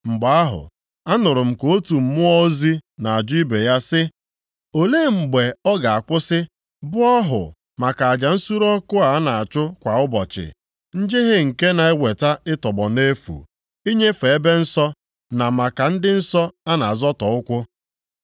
Mgbe ahụ, anụrụ m ka otu mmụọ ozi na-ajụ ibe ya sị, “Olee mgbe ọ ga-akwụsị bụ ọhụ maka aja nsure ọkụ a na-achụ kwa ụbọchị, njehie nke na-eweta ịtọgbọ nʼefu, inyefe ebe nsọ na maka ndị nsọ a na-azọtọ ụkwụ?”